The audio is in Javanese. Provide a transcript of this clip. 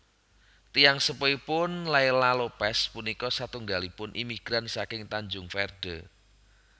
Tiyang sepuhipun Leila Lopes punika satunggalipun imigran saking Tanjung Verde